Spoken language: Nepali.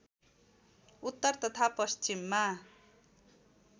उत्तर तथा पश्चिममा